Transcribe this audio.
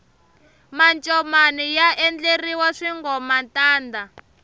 mancomani ya endleriwa swingomantanda